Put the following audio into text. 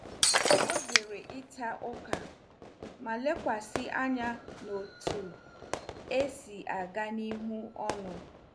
Ọ zere ịta ụka ma lekwasị anya n'otu esi aga n'ihu ọlụ.